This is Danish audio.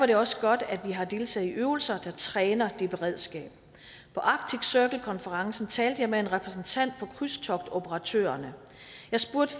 det også godt at vi har deltaget i øvelser der træner det beredskab på arctic circle konferencen talte jeg med en repræsentant for krydstogtoperatørerne jeg spurgte